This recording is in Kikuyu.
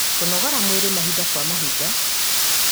kũgonora mwĩrĩ mahinda kwa mahinda